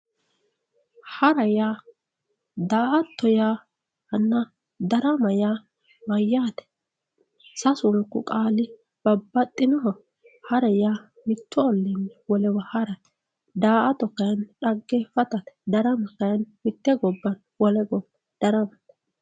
hara yaa, daa"atto yaanna darama yaa mayaate sassunku qaali babbaxinoho hara yaa mitu ollini wolewa harate daa"ta kayiini xageefatate darama kayiini mitte gobayi wole gobba daramate.